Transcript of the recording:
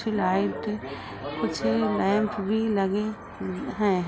कुछ लाइट कुछ लैंप भी लगे हैं।